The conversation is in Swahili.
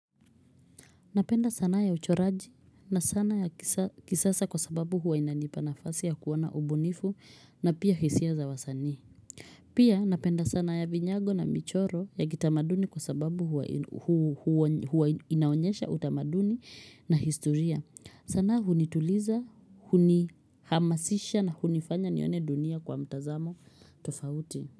Napenda sanaa ya uchoraji na sanaa ya kisasa kwa sababu huwa inanipa nafasi ya kuwa na ubunifu na pia hisia za wasanii. Pia napenda sana ya vinyago na michoro ya kitamaduni kwa sababu huwa inaonyesha utamaduni na historia. Sana hunituliza, huni hamasisha na hunifanya nione dunia kwa mtazamo tofauti.